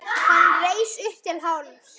Hann reis upp til hálfs.